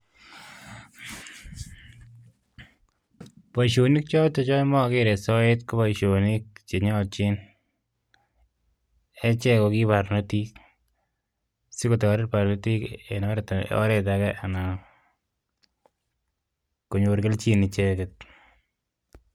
Boishonik chotok chemokere soet konyoljin achek kokikobotik sikobit kotoret ichek